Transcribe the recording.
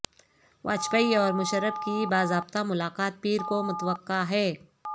واجپئی اور مشرف کی باضابطہ ملاقات پیر کو متوقع ہے